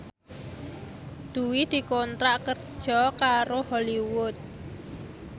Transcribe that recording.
Dwi dikontrak kerja karo Hollywood